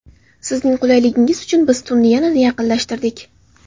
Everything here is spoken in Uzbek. Sizning qulayligingiz uchun biz tunni yanada yaqinlashtirdik!